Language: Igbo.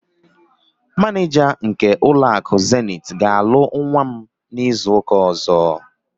Manịja nke ụlọakụ Zenith ga-alụ nwa m n'izuụka ọ̀zọ́.